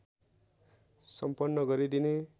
सम्पन्न गरिदिने